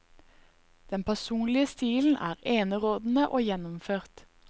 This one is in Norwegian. Den personlige stilen er enerådene og gjennomført.